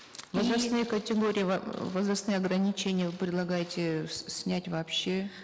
возрастные категории возрастные ограничения предлагаете снять вообще